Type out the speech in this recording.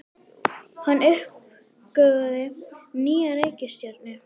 Hann uppgötvaði nýja reikistjörnu!